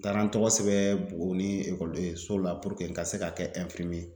N taara n tɔgɔ sɛbɛn Buguni ekɔlidenso la ka se ka kɛ ye